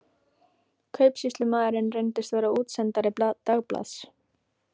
Kaupsýslumaðurinn reyndist vera útsendari dagblaðs